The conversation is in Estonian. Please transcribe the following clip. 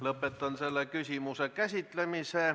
Lõpetan selle küsimuse käsitlemise.